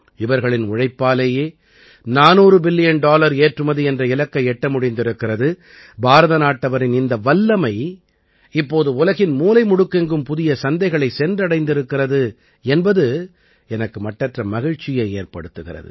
இவர்களின் உழைப்பாலேயே 400 billion dollar ஏற்றுமதி என்ற இலக்கை எட்ட முடிந்திருக்கிறது பாரத நாட்டவரின் இந்த வல்லமை இப்போது உலகின் மூலை முடுக்கெங்கும் புதிய சந்தைகளைச் சென்றடைந்திருக்கிறது என்பது எனக்கு மட்டற்ற மகிழ்ச்சியை ஏற்படுத்துகிறது